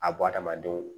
A b'o adamadenw